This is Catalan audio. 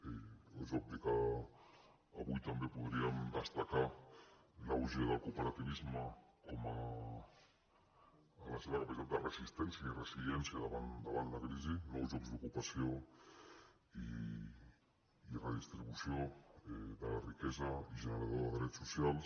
és obvi que avui també podríem destacar l’auge del cooperativisme en la seva capacitat de resistència i resiliència davant la crisi nous llocs d’ocupació i redistribució de la riquesa i generador de drets socials